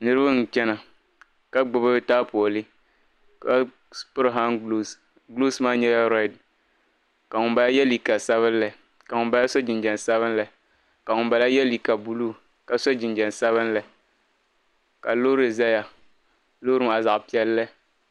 Niriba n chana ka gbubi taapooli ka piri han guloos guloos maa nyɛla rɛd ka ŋun bala yɛ liiga sabinli ka ŋun bala so jinjam sabinli ka ŋun bala yɛ liiga buluu ka so jinjam sabinli ka loori zaya loori maa zaɣa piɛlli.